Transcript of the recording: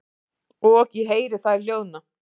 Og ég heyri þær hljóðna.